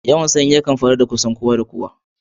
Yawan sanyi yana faruwa ga kusan kowa da kowa.